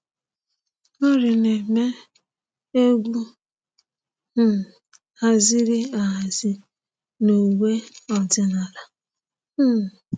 Maori na-eme egwu um haziri ahazi n’uwe ọdịnala. um